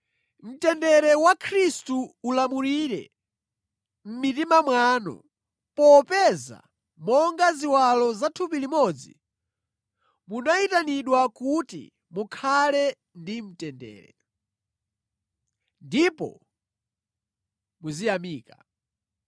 Mtendere wa Khristu ulamulire mʼmitima mwanu, popeza monga ziwalo za thupi limodzi, munayitanidwa kuti mukhale ndi mtendere. Ndipo muziyamika.